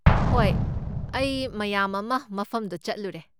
ꯍꯣꯏ, ꯑꯩ ꯃꯌꯥꯝ ꯑꯃ ꯃꯐꯝꯗꯣ ꯆꯠꯂꯨꯔꯦ꯫